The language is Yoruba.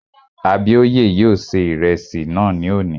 Abíóyè yóò ṣe ìrẹsì náà ní òní